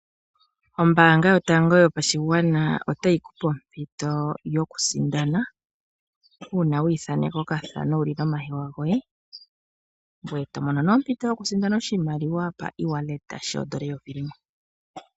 Ombaanga yotango yopashigwana otayi ku pe ompito yoku sindana uuna wi ithaaneka okathana wuli nomahewa goye ngoye to mono nee ompito yoku sindana osjimaliwa pa ewallet, shoondola eyovi limwe.